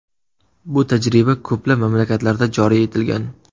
Bu tajriba ko‘plab mamlakatlarda joriy etilgan.